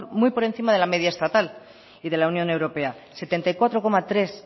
muy por encima de la media estatal y de la unión europea setenta y cuatro coma tres